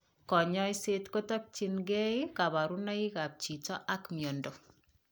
Kanyoiset kotokyinkee kaborunoik ab chiito ak miondo